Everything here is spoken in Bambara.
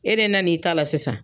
E de nana n'i ta la sisan